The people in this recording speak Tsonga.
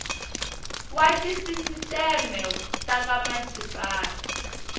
wa tisisiteme ta ka masipala